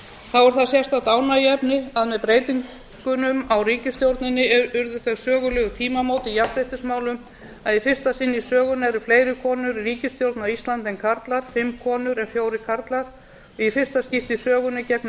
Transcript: þá er það sérstakt ánægjuefni að með breytingunum á ríkisstjórninni urðu þau sögulegu tímamót í jafnréttismálum að í fyrsta sinn í sögunni eru fleiri konur í ríkisstjórn á íslandi en karlar fimm konur en fjórir karlar í fyrsta skipti í sögunni gegnir